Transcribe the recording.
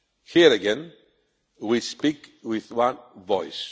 Here again, we speak with one voice.